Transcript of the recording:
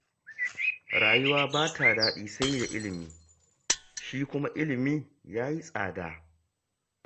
Rayuwa ba ta daɗi sai da ilimi, shi kuma ilimi ya yi tsada